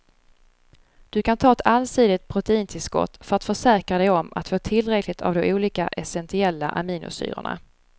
Du kan ta ett allsidigt proteintillskott för att försäkra dig om att få tillräckligt av de olika essentiella aminosyrorna.